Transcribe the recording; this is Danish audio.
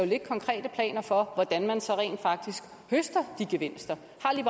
ligge konkrete planer for hvordan man så rent faktisk høster de gevinster